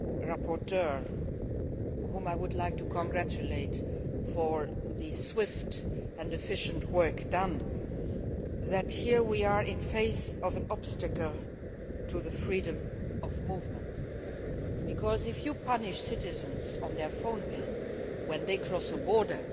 rapporteur, whom I would like to congratulate on the swift and efficient work done. We are facing here an obstacle to freedom of movement because, if you punish citizens on their phone bill when they cross a border,